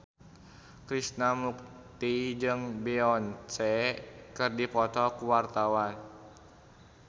Krishna Mukti jeung Beyonce keur dipoto ku wartawan